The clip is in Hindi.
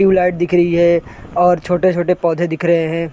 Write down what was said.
टिव लाइट दिख रही है और छोटे-छोटे पौधे दिख रहे हैं ।